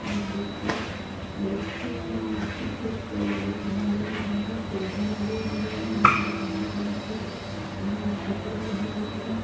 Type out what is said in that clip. एक बेकती बैठ के मिट्टी खोद के झाड़ों में भर रा । पोधे लगे हुएं हैं जिसमें काले कलर के। न् कपड़े पेहना हुआ है।